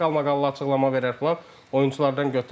Bir qalmaqallı açıqlama verər filan oyunçulardan götürər.